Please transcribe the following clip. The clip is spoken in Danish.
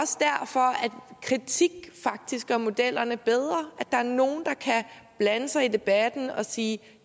kritik faktisk gør modellerne bedre at der er nogen der kan blande sig i debatten og sige